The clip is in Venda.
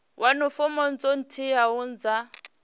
wane fomo dzo teaho dza